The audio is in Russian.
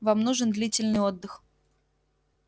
вам нужен длительный отдых